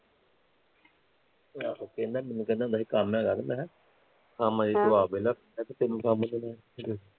ਆਹੋ, ਕਹਿਣਾ ਮੈਨੂੰ ਕਹਿੰਦਾ ਹੁੰਦਾ ਸੀ ਕੀ ਕੋਈ ਕੰਮ ਹੈਗਾ ਕੋਈ ਮੈਂ ਕਿਹਾਂ ਕੰਮ ਵੇਲੇ ਤੂੰ ਆਪ ਵੇਲਾ ਹਮ ਤੇਨੂੰ ਕੰਮ ਕਿਹਨੇ